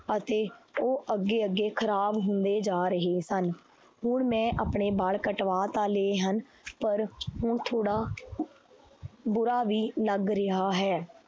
ਅਤੇ ਉਹ ਅੱਗੇ ਅੱਗੇ ਖ਼ਰਾਬ ਹੁੰਦੇ ਜਾ ਰਹੇ ਹਨ, ਹੁਣ ਮੈਂ ਆਪਣੇ ਬਾਲ ਕਟਵਾ ਤਾਂ ਲਏ ਹਨ ਪਰ ਹੁਣ ਥੋੜ੍ਹਾ ਬੁਰਾ ਵੀ ਲੱਗ ਰਿਹਾ ਹੈ।